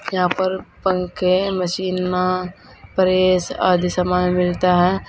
यहां पर पंखे है मशीन में प्रेस आदि सामान मिलता है।